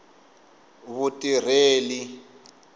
vutireli